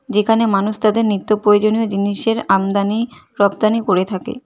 যেখানে মানুষ তাদের নিত্যপ্রয়োজনীয় জিনিসের আমদানি রপ্তানি করে থাকে।